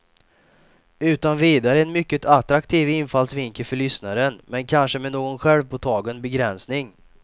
Utan vidare en mycket attraktiv infallsvinkel för lyssnaren, men kanske med någon självpåtagen begränsning.